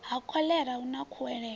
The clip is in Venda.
ha khoḽera hu na khuwelelo